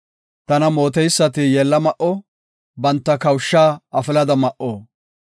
Tana mooteysati yeella ma7o; banta kawushaa afilada ma7o.